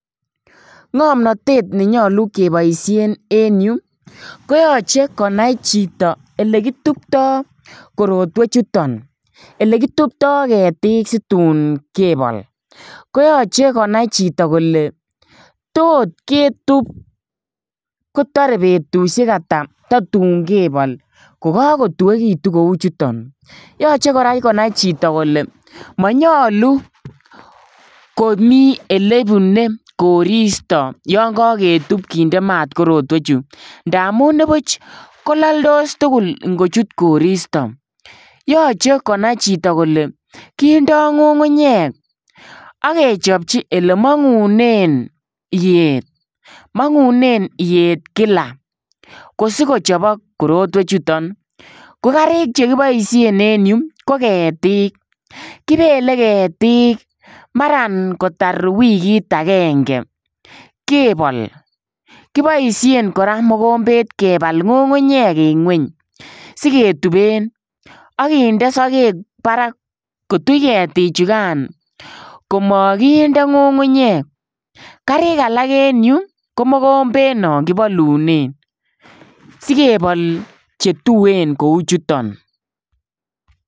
Ngomnotet ne yoche keboisien en yu koyoche konai chito oke kitupto koretwechuton, ele kitupto ketik situn kebol koyoche konai chito kole tot ketup kotore betushek ata totun kebol kokokotuekitun kouchuton, yoche konai koraa chito kole monyolu komi elebune koristo yon koketup kinde maat korotwechuton ndamun nibuch kololdos tugul ingochut koristo, yoche konai chito kole kindoo ngungunyek ak kechopchi elemongunen iyet , mongunen iyet kila kosikochobok korotwechuton, kokarik chekiboishen en ireyu koketik kibele ketik maran kotar wikit agenge kebol , kiboishen koraa mokombet kebal ngungunyek en ngweny siketupen ak kindee sokek barak kotuch ketichukan komokinde ngungunyek, karik alak en yu ko mokombet non kibolunen sikebol chetuen kouchuton.